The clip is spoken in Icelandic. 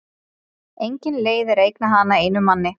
Engin leið er að eigna hana einum manni.